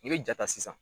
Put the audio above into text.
N'i bɛ ja ta sisan